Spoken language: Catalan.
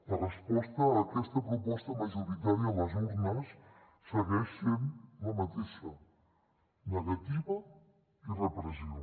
la resposta a aquesta proposta majoritària a les urnes segueix sent la mateixa negativa i repressió